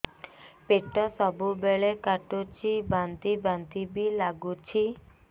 ପେଟ ସବୁବେଳେ କାଟୁଚି ବାନ୍ତି ବାନ୍ତି ବି ଲାଗୁଛି